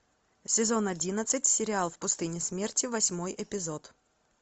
сезон одиннадцать сериал в пустыне смерти восьмой эпизод